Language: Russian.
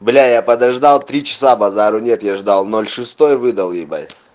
бля я подождал три часа базару нет я ждал ноль шестой выдал ебать